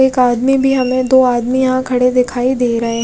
एक आदमी भी हमे दो आदमी यहाँ खड़े दिखाई दे रहे है।